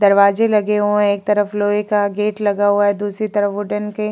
दरवाजे लगे ओए हैं। एक तरफ लोहे का गेट लगा हुआ है। दूसरी तरफ वुडेन के --